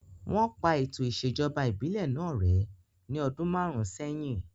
Wọ́n pa ètò ìṣèjọba ìbílẹ̀ náà rẹ́ ní ọdún márùn sẹ́yìn